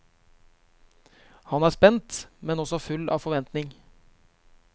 Han er spent, men også full av forventning.